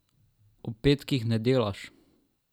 Ob petkih ne delaš.